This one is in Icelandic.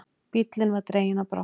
Bíllinn var dreginn á brott.